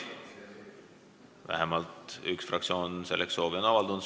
Vähemalt üks fraktsioon on selleks soovi avaldanud.